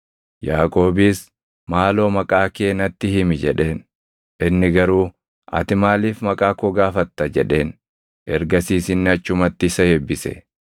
Yaaqoobis, “Maaloo maqaa kee natti himi” jedheen. Inni garuu, “Ati maaliif maqaa koo gaafatta?” jedheen. Ergasiis inni achumatti isa eebbise.